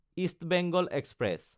east Bengal express